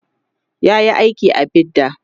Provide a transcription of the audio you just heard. yayi aiki a bidda